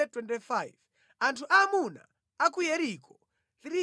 Anthu aamuna a ku Yeriko 345